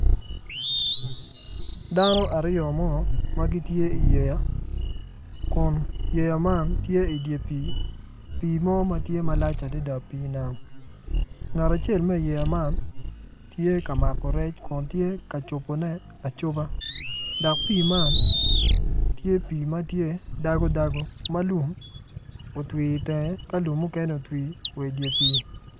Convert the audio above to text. Dano aryo mo ma gitye idi yeya kun yeya man tye idye pii pii mo ma tye malac adada pii nam ngat acel ma iyeya man tye ka mako rec kun tye ka cobone acoba dok pii man tye pii ma tye dago dago ma lum otwi itenge ka lum mukene otwi idye pii.